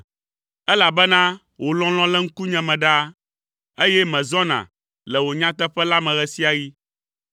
elabena wò lɔlɔ̃ le ŋkunye me ɖaa, eye mezɔna le wò nyateƒe la me ɣe sia ɣi.